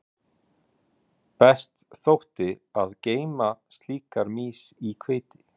Best þótti að geyma slíkar mýs í hveiti.